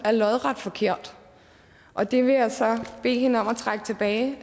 er lodret forkert og det vil jeg så bede hende om at trække tilbage